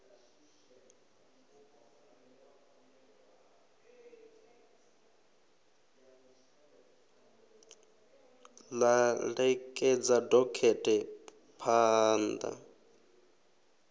ḽa ṋekedza dokhethe phaan ḓa